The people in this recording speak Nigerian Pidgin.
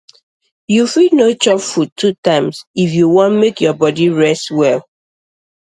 you fit no chop food two times if you wan make your body rest well